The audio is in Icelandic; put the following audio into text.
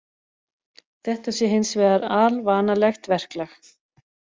Þetta sé hins vegar alvanalegt verklag